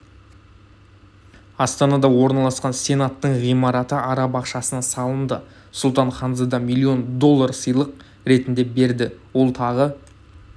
астанада орналасқан сенаттың ғимараты араб ақшасына салынды сұлтан ханзада миллион доллар сыйлық ретінде берді ол тағы